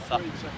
Mənə tərəf.